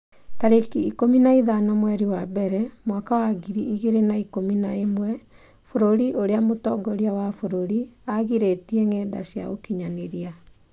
tarĩki ikũmi na ithano mweri wa mbere mwaka wa ngiri igĩrĩ na ikũmi na ĩmwe Bũrũri ũrĩa mũtongoria wa bũrũri aagirĩtie ngenda cia ũkinyanĩria